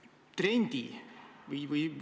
Punkt üks, see on ju Riigikogu otsus.